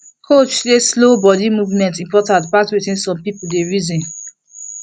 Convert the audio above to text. coach say slow body movement important pass wetin some people dey reason